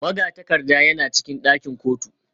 Magatakarda yana cikin ɗakin kotu